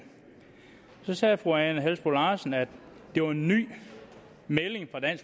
sagde fru ane halsboe larsen at det var en ny melding